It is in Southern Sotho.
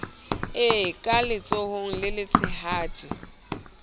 e ka letsohong le letshehadi